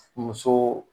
Muso